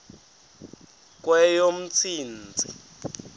kweyomntsintsi